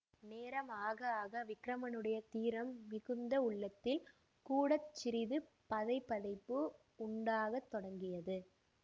நேரம் ஆக ஆக விக்கிரமனுடைய தீரம் மிகுந்த உள்ளத்தில் கூட சிறிது பதைபதைப்பு உண்டாகத் தொடங்கியது